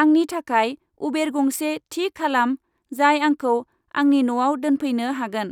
आंनि थाखाय उबेर गंसे थि खालाम जाय आंखौ आंनि न'आव दोनफैनो हागोन।